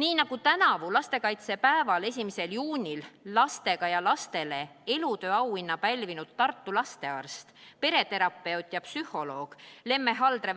Nii nagu ütles tänavu lastekaitsepäeval, 1. juunil "Lastega ja lastele" elutööauhinna pälvinud Tartu lastearst, pereterapeut ja psühholoog Lemme Haldre,